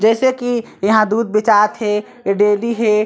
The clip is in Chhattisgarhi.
जैसे की यहाँ दूध बेचात हे ए डेरी हे।